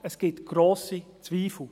Es gibt grosse Zweifel.